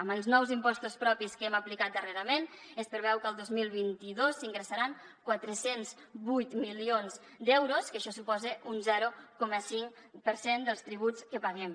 amb els nous impostos propis que hem aplicat darrerament es preveu que el dos mil vint dos s’ingressaran quatre cents i vuit milions d’euros que això suposa un zero coma cinc per cent dels tributs que paguem